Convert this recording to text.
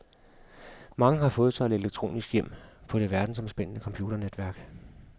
Mange har fået sig et elektronisk hjem på det verdensomspændende computernetværk.